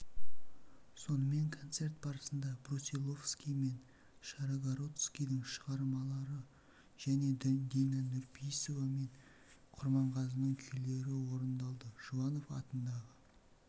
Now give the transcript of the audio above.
сонымен концерт барысында брусиловский мен шаргородскийдің шығармалары және дина нұрпейісова мен құрманғазының күйлері орындалды жұбанов атындағы